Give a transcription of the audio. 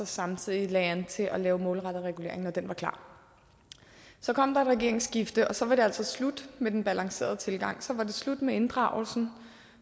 samtidig lagde an til at lave målrettet regulering når den var klar så kom der et regeringsskifte og så var det altså slut med den balancerede tilgang så var det slut med inddragelsen